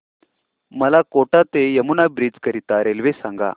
मला कोटा ते यमुना ब्रिज करीता रेल्वे सांगा